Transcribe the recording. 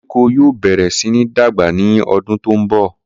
Koríko yóò bẹ̀rẹ̀ sí ní dàgbà ní ọdún tó ń bọ̀.